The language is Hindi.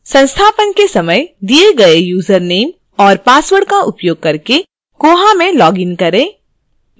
संस्थापन के समय दिए गए username और password का उपयोग करके koha में log इन करें